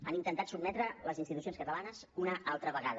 han intentat sotmetre les institucions catalanes una altra vegada